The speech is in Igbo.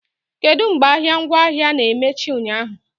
Kedu mgbe ahịa ngwaahịa na-emechi ụnyaahụ?